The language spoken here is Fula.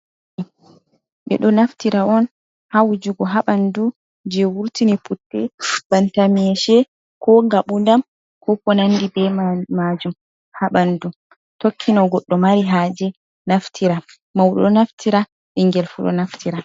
Ɓeɗo naftira on, ha wujugo haɓandu je wurtini putte banta meshe, ko ngaɓudam, ko ko nandi be majum haɓandu, tokkino goɗɗo mari ha je naftira mau ɗo, naftira ɓingel fu ɗo naftira.